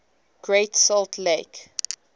great salt lake